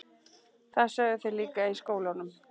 Þeir sögðu það líka í skólanum.